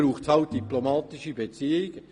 Dafür bedarf es diplomatischer Beziehungen.